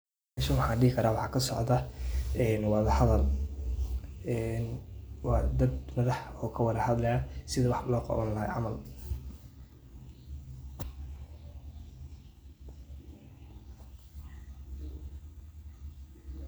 Meshan waxa dehi karah waxa kasocdah ee wamaxaway een wa dad madaxa oo kawlahadlayo sethi wax lo qaawan lahay camal.